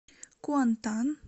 куантан